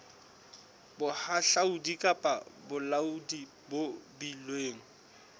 bohahlaudi kapa bolaodi bo beilweng